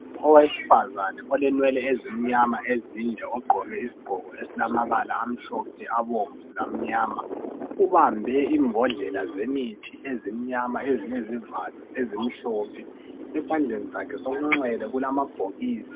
Owesifazana olenwele ezimnyama ezinde ogqoke isigqoko esilamabala amhlophe, abomvu lamnyama, ubambe imbodlela zemithi ezimnyama ezilezivalo ezimhlophe. Esandleni sakhe sokunxele kulamabhokisi.